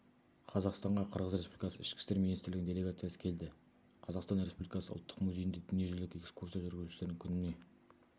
қазақстанға қырғыз республикасы ішкі істер министрлігінің делегациясы келді қазақстан республикасы ұлттық музейінде дүниежүзілік экскурсия жүргізушілердің күніне